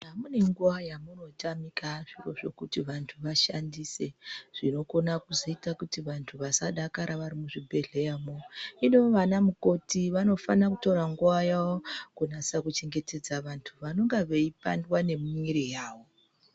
Mune nguwabyamunotamika zviro zvekuti vantu vashandise zvinokona kuzika kuti vantu muzvibhedhlera hino vana mukoti vanotora nguwayawo kuchengetedza vantu vanenge veipanda nemwiri yawo.